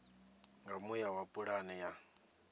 nga muya wa pulane ya